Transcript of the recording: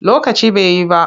Lokaci ba yi ba.